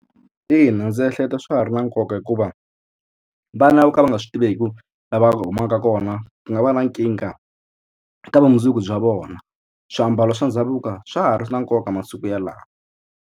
Ina ndzi ehleketa swa ha ri na nkoka hikuva vana vo ka va nga swi tiveki lava humaka kona ku nga va na nkingha eka vumundzuku bya vona swiambalo swa ndhavuko swa ha ri na nkoka masiku yalawa.